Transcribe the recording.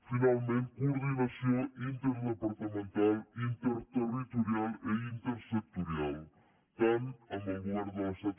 finalment coordinació interdepartamental interterritorial i intersectorial tant amb el govern de l’estat